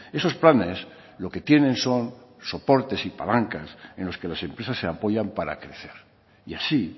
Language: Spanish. esos planes lo que tienen son soportes y palancas en los que las empresas se apoyan para crecer y así